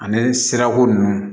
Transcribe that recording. Ani sirako nunnu